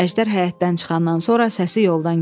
Əjdər həyətdən çıxandan sonra səsi yoldan gəldi.